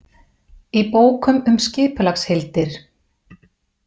Í bókum um skipulagsheildir.